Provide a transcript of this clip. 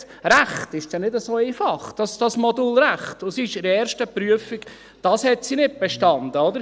Das Modul Recht ist dann nicht so einfach, und sie hat die erste Prüfung nicht bestanden.